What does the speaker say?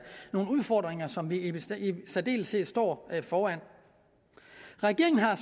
nogle udfordringer som vi i særdeleshed står foran regeringen har